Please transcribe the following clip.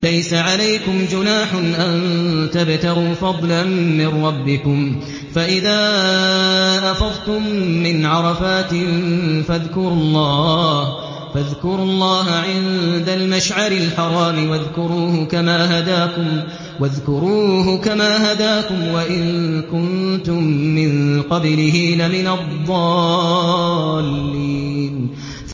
لَيْسَ عَلَيْكُمْ جُنَاحٌ أَن تَبْتَغُوا فَضْلًا مِّن رَّبِّكُمْ ۚ فَإِذَا أَفَضْتُم مِّنْ عَرَفَاتٍ فَاذْكُرُوا اللَّهَ عِندَ الْمَشْعَرِ الْحَرَامِ ۖ وَاذْكُرُوهُ كَمَا هَدَاكُمْ وَإِن كُنتُم مِّن قَبْلِهِ لَمِنَ الضَّالِّينَ